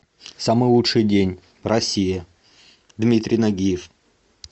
самый лучший день россия дмитрий нагиев